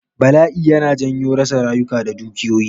Bala'i yana janyo rasa rayuka da dukiyoyi